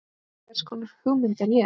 Hvers konar hugmynd er ég?